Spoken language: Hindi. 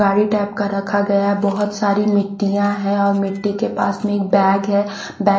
गाड़ी टाइप का रखा गया है बहुत सारी मिट्टीयां हैँ और मिट्टी के पास मे एक बैग है बैग --